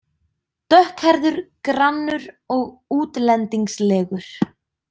Dökkhærður, grannur og útlendingslegur.